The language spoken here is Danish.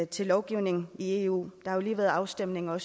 til lovgivningen i eu der har lige været afstemning om